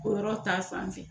O yɔrɔ ta fanfɛ.